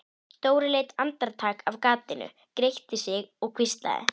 Dóri leit andartak af gatinu, gretti sig og hvíslaði